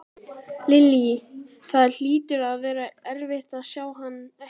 Lillý: Það hlýtur að vera erfitt að sjá hana ekki?